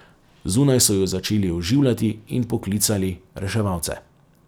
Zunaj so ju začeli oživljati in poklicali reševalce.